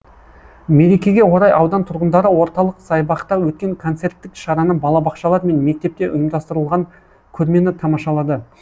мерекеге орай аудан тұрғындары орталық саябақта өткен концерттік шараны балабақшалар мен мектепте ұйымдастырылған көрмені тамашалады